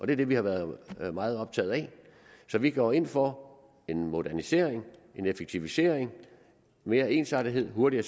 det vi har været meget optaget af så vi går ind for en modernisering en effektivisering mere ensartethed hurtigere